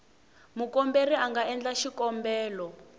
mukomberi a nga endla xikombelo